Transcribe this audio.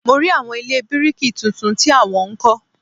Mo rí àwọn ilé bíríkì tuntun tí a wọ́n ń kọ́